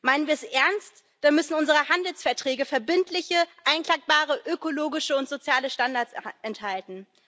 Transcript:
Meinen wir es ernst, dann müssen unsere Handelsverträge verbindliche, einklagbare ökologische und soziale Standards enthalten.